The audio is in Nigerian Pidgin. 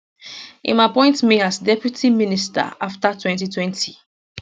im appoint me as deputy minister afta 2020